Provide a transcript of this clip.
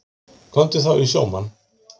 Komdu þá í sjómann.